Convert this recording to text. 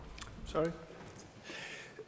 der